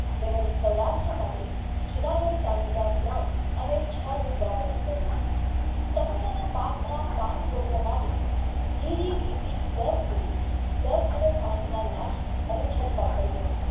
અને ચા નું વાવેતર કર્યું ટામેટાના પાકમાં પણ ગોળ્યા માટે ગિરીરીતી દસ mili દસ liter પાણીમાં નાખી અને ચટકાવ કરવો